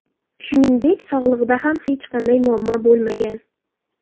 Shuningdek, sog‘ligida ham hech qanday muammo bo‘lmagan.